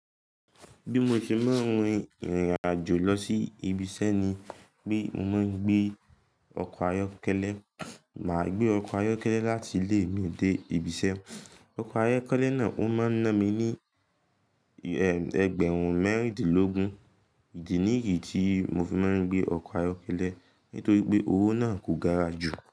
Bí mo ṣe máa ń rin ìrìn àjò lọ sí ibiṣẹ́ ni pé mo máa ń gbé ọkọ̀ ayọ́kẹ́lẹ́. Màá gbé ọkọ̀ ayọ́kẹ́lẹ́ láti ilé mi dé ibiṣẹ́. Ọkọ̀ ayọ́kẹ́lẹ́ náà ó máa ń ná mi ní ẹgbẹ̀rún mẹ́rìndínlógún. Ìdí nìyí tí mo fi máa ń gbé ọkọ̀ ayọ́kẹ́lẹ́ nítorí pé owó náà kò gara jù.